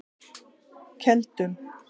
Keldum